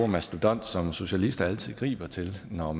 mastodont som socialister altid griber til når